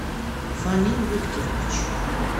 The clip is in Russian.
фанил викторович